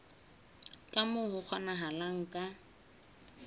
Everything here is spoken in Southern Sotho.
ka moo ho kgonahalang ka